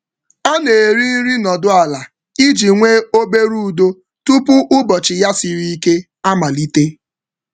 Ọ na-eri nri nọdụ ala iji nwee obere udo udo tupu ụbọchị um ya siri ike amalite.